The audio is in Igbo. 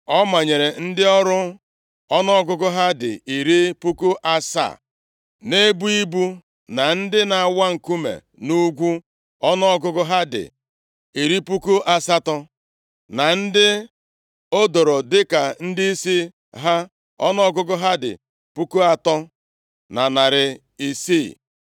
O manyere ndị ọrụ ọnụọgụgụ ha dị iri puku asaa (70,000) na-ebu ibu, na ndị na-awa nkume nʼugwu ọnụọgụgụ ha dị iri puku asatọ (80,000), na ndị o doro dịka ndịisi ha, ọnụọgụgụ ha dị puku atọ na narị isii (3,600).